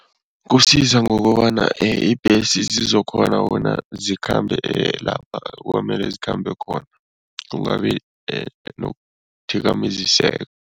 Kusiza ngokobana ibhesi zizokukghona bona zikhambe lapha kwamele zikhambe khona, kungabi nokuthikameziseka.